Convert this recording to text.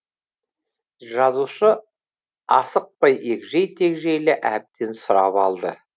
жазушы асықпай егжей тегжейлі әбден сұрап алды